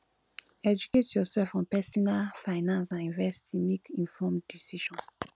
educate yourself on pesinal finance and investing make informed decisions